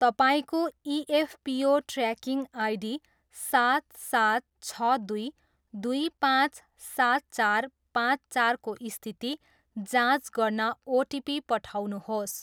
तपाईँको EPFO tracking ID सात सात छ दुई दुई पाँच सात चार पाँच चारको स्थिति जाँच गर्न ओटिपी पठाउनुहोस्।